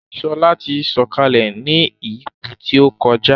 Shola tí Sọkalẹ ní ìyípo tí a koja.